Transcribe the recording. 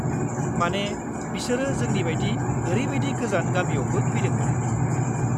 मानि, बिसोर जोंनि बायदि ओरैबादि गोजान गामियावबो फैदोंमोन।